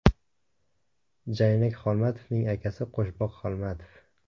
Jaynak Xolmatovning akasi Qo‘shboq Xolmatov.